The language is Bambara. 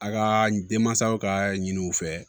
A ka denmansaw ka ɲiniw u fɛ